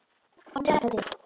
Vonandi sleppur þetta til.